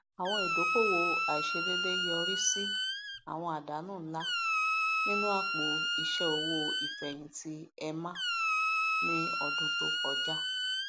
àwọn idókòòwò àìsèdédé yọrí sí àwọn àdánù ńlá nínú apò iṣẹ owó ìfẹhìntì emma ní ọdún tó kọjá